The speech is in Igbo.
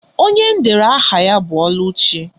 Onye m dere aha ya bụ Ọlụchi.